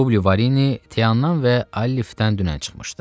Publi Varini Teandan və Alifdən dünən çıxmışdı.